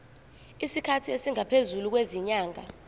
isikhathi esingaphezulu kwezinyanga